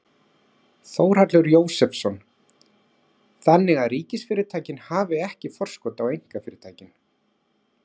Þórhallur Jósefsson: Þannig að ríkisfyrirtækin hafi ekki forskot á einkafyrirtækin?